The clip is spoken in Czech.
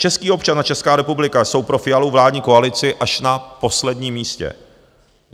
Český občan a Česká republika jsou pro Fialovu vládní koalici až na posledním místě.